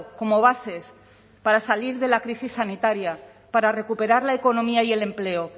como bases para salir de la crisis sanitaria para recuperar la economía y el empleo